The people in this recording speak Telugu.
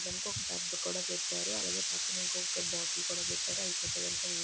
ఇక్కడనుకో ఒక్క టబు కూడా పెట్టారు. అలాగే పక్కనే ఇంకొక బాటిల్ కూడా పెట్టారు అయిపోతే కనుక నీళ్లు --